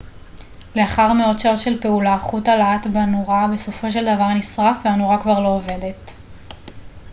לאחר מאות שעות של פעולה חוט הלהט בנורה בסופו של דבר נשרף והנורה כבר לא עובדת